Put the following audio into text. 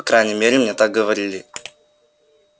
по крайней мере мне так говорили